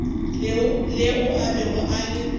leo a bego a le